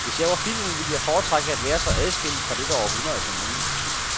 Hvis jeg var filmen, ville jeg foretrække at være så adskilt fra dette århundrede som muligt.